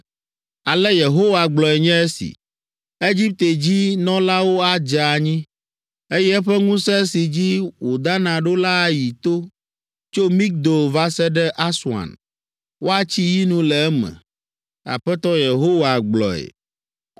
“Ale Yehowa gblɔe nye esi: “ ‘Egipte dzi nɔlawo adze anyi, eye eƒe ŋusẽ si dzi wòdana ɖo la ayi to tso Migdol va se ɖe Aswan; woatsi yinu le eme.’ Aƒetɔ Yehowa gblɔe.